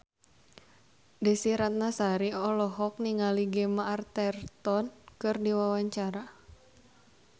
Desy Ratnasari olohok ningali Gemma Arterton keur diwawancara